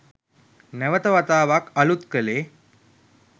නැවත වතාවක් අලුත් කලේ